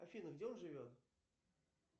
афина где он живет